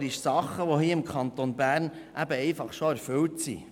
Sie fordern Dinge, die hier im Kanton Bern eben einfach schon erfüllt sind.